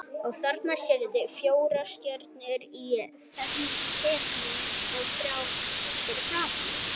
Og þarna sérðu fjórar stjörnur í ferningi og þrjár fyrir framan.